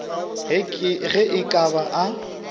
ge e ka ba a